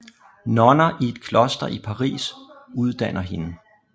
Nonner i et kloster i Paris uddanner hende